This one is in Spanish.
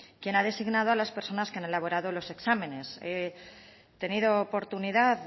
quién ha designado a las personas que han elaborado los exámenes he tenido oportunidad